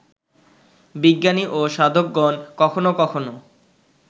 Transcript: বিজ্ঞানী ও সাধকগণ কখনও কখনও